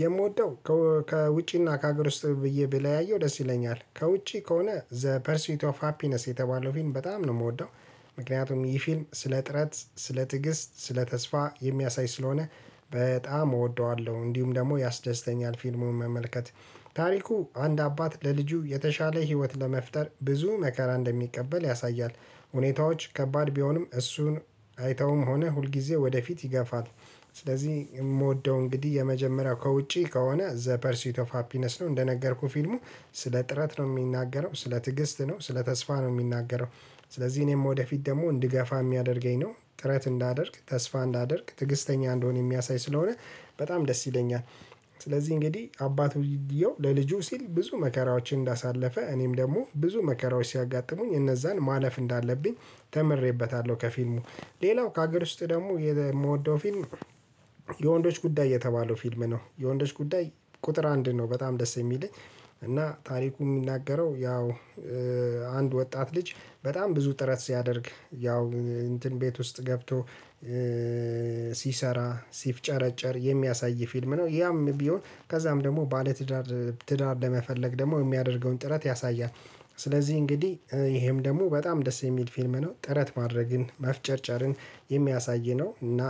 የምወደው ከውጪና ከሀገር ውስጥ ብዬ ብለያየው ደስ ይለኛል ከውጪ ከሆነ ዘ ፐርሲት ኦፍ ሃፒነስ የተባለው ፊልም በጣም ነው የምወደው። ምክንያቱም ይህ ፊልም ስለ ጥረት ስለ ትግስት ስለ ተስፋ የሚያሳይ ስለሆነ በጣም እወደዋለሁ እንዲሁም ደግሞ ያስደስተኛል ፊልሙን መመልከት። ታሪኩ አንድ አባት ለልጁ የተሻለ ህይወት ለመፍጠር ብዙ መከራ እንደሚቀበል ያሳያል። ሁኔታዎች ከባድ ቢሆንም እሱን አይተውም ሆነ ሁልጊዜ ወደፊት ይገፋል። ስለዚህ የምወደው እንግዲህ የመጀመሪያው ከውጪ ከሆነ ዘ ፐርሲት ኦፍ ሃፒነስ ነው። እንደነገርኩህ ፊልሙ ስለ ጥረት ነው የሚናገረው ስለ ትዕግስት ነው ስለ ተስፋ ነው የሚናገረው። ስለዚህ እኔም ወደፊት ደግሞ እንድገፋ የሚያደርገኝ ነው ጥረት እንዳደርግ ተስፋ እንዳደርግ ትግስተኛ እንደሆን የሚያሳይ ስለሆነ በጣም ደስ ይለኛል። ስለዚህ እንግዲህ አባት ውድየው ለልጁ ሲል ብዙ መከራዎችን እንዳሳለፈ እኔም ደግሞ ብዙ መከራዎች ሲያጋጥሙኝ እነዛን ማለፍ እንዳለብኝ ተምሬበታለሁ። ከፊልሙ ሌላው ከሀገር ውስጥ ደግሞ የምወደው ፊልም። የወንዶች ጉዳይ የተባለው ፊልም ነው የወንዶች ጉዳይ ቁጥር አንድ ነው በጣም ደስ የሚለኝ። እና ታሪኩ የሚናገረው ያው አንድ ወጣት ልጅ በጣም ብዙ ጥረት ሲያደርግ ያው እንትን ቤት ውስጥ ገብቶ ሲሰራ ሲፍጨረጨር የሚያሳይ ፊልም ነው። ያም ቢሆን ከዛም ደግሞ ባለትዳር ትዳር ለመፈለግ ደግሞ የሚያደርገውን ጥረት ያሳያል። ስለዚህ እንግዲህ ይሄም ደግሞ በጣም ደስ የሚል ፊልም ነው። ጥረት ማድረግን መፍጨርጨርን የሚያሳይ ነው እና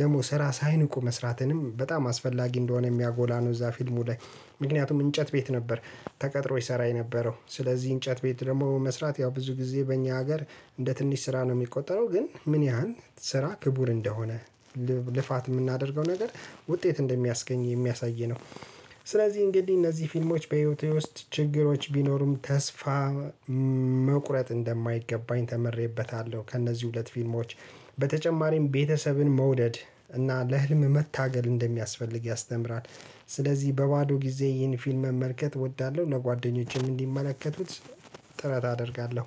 ደግሞ ስራ ሳይንቁ መስራትንም በጣም አስፈላጊ እንደሆነ የሚያጎላ ነው። እዛ ፊልሙ ላይ ምክንያቱም እንጨት ቤት ነበር። ተቀጥሮ ይሰራ የነበረው ስለዚህ እንጨት ቤት ደግሞ መስራት ያው ብዙ ጊዜ በእኛ ሀገር እንደ ትንሽ ስራ ነው ሚቆጠረው። ግን ምን ያህል ስራ ክቡር እንደሆነ። ልፋት የምናደርገው ነገር ውጤት እንደሚያስገኝ የሚያሳይ ነው። ስለዚህ እንግዲህ እነዚህ ፊልሞች በህይወቴ ውስጥ ችግሮች ቢኖሩም ተስፋ መቁረጥ እንደማይገባኝ ተምሬበታለሁ። ከእነዚህ ሁለት ፊልሞች በተጨማሪም ቤተሰብን መውደድ እና ለህልም መታገል እንደሚያስፈልግ ያስተምራል። ስለዚህ በባዶ ጊዜ ይህን ፊልም መመልከት እወዳለሁ እነ ጓደኞቼም እንዲመለከቱት ጥረት አደርጋለሁ።